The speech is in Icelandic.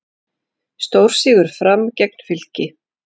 Stórsigur Fram gegn Fylki